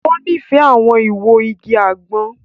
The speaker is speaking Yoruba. O nifẹ awọn iwo ìgi àgbon.